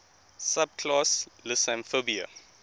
subclass lissamphibia